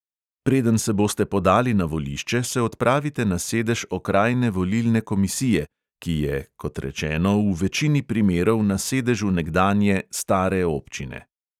Preden se boste podali na volišče, se odpravite na sedež okrajne volilne komisije, ki je, kot rečeno, v večini primerov na sedežu nekdanje, "stare" občine.